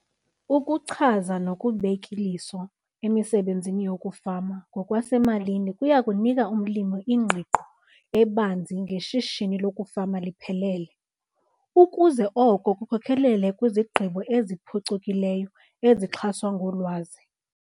Ukuchaza nokubek' iliso emisebenzini yokufama ngokwasemalini kuya kunika umlimi ingqiqo ebanzi ngeshishini lokufama liphelele, ukuze oko kukhokelele kwizigqibo eziphucukileyo ezixhaswa ngolwazi.